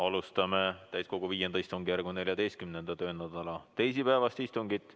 Alustame täiskogu V istungjärgu 14. töönädala teisipäevast istungit.